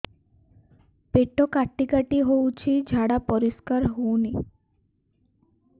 ପେଟ କାଟି କାଟି ହଉଚି ଝାଡା ପରିସ୍କାର ହଉନି